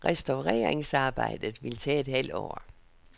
Restaureringsarbejdet vil tage et halvt år.